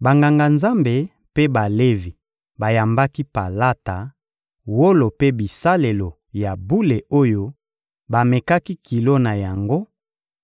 Banganga-Nzambe mpe Balevi bayambaki palata, wolo mpe bisalelo ya bule oyo bamekaki kilo na yango,